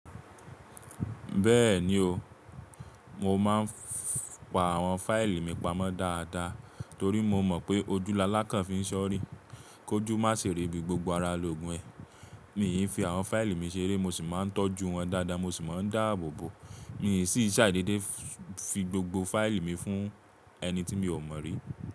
Bẹ́ẹ̀ni o, mo máa ń pa àwọn fáìlì mi pamọ́ dáadáa torí mo mọ̀ pé ojúu alálàkàn fi ń sọ́rì. Kójú má ṣi rí bí gbogbo ara lo gùn ẹ. Míi fi àwọn fáìlì mi ṣeré, mo sì máa n tọ́jú wọn dáadáa, mo sì máa ń dáàbòbò. Mí sì ṣàì dédé fi gbogbo fáìlì mi fún ẹni tí mi ò mọ̀ rí.